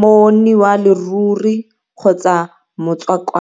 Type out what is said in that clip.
monni wa leruri kgotsa motswakwa.